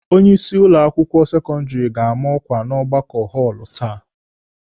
Onye isi ụlọ akwụkwọ sekọndịrị ga-ama ọkwa n'ọgbakọ họọlụ taa.